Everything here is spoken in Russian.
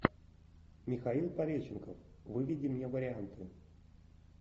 михаил пореченков выведи мне варианты